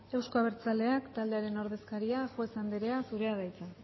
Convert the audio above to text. euzko abertzaleak taldearen ordezkaria juez anderea zurea da hitza